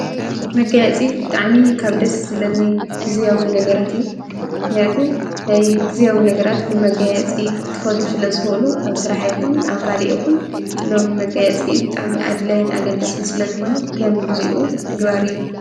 መጋየፂ ብጣዕሚ ካብ ደስ ዝብለኒ ግዝያዊ ነገራት እዩ፡፡ ምክንያቱም ናይ ግዝያዊ ነገራት ብመጋየፂ ክከዱ ስለ ዝክእሉ ኣብ ስራሕ ይኩን ኣብ ካሊእ ይኩን ሎሚ መጋየፂ ብጣዕሚ ኣድላይ ኣገዳስ ስለ ዝኮነ ከምግዚኡ ምግባር እዩ፡፡